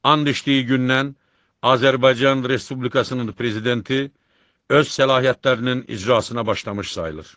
And içdiyi gündən Azərbaycan Respublikasının prezidenti öz səlahiyyətlərinin icrasına başlamış sayılır.